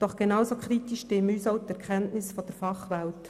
Doch genauso kritisch stimmen uns auch die Erkenntnisse der Fachwelt.